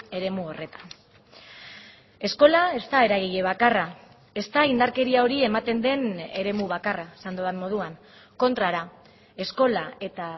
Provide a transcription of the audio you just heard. eremu horretan eskola ez da eragile bakarra ez da indarkeria hori ematen den eremu bakarra esan dudan moduan kontrara eskola eta